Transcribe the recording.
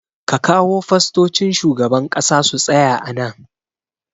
Ka kawo fastocin shugaban ƙasa su tsaya a nan